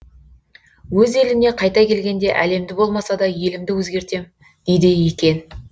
өз еліне қайта келгенде әлемді болмаса да елімді өзгертем дейді екен